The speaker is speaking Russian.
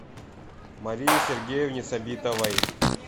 марии сергеевне сабитовой